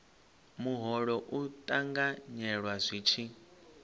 muholo u ṱanganyelwa zwi tshi